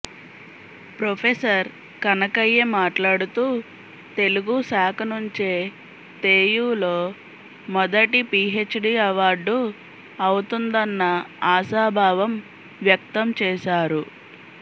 professor Kanakaiah మాట్లాడుతూ తెలుగుశాఖ నుంచే తెయులో మొదటి పిహెచ్డి అవార్డు అవుతుందన్న ఆశాభావం వ్యక్తం చేశారు